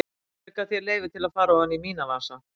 Hver gaf þér leyfi til að fara ofan í mína vasa?